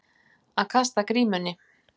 Að kasta grímunni